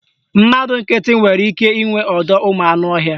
Mmadụ nkịtị nwere ike inwe ọdọụmụanụọhịa